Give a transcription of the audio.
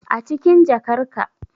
Acikin jakar ka